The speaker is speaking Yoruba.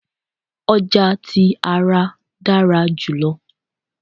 ọja ti ara dara julọ